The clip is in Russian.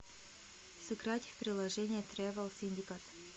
сыграть в приложение тревел синдикат